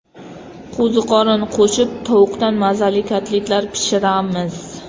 Qo‘ziqorin qo‘shib tovuqdan mazali kotletlar pishiramiz.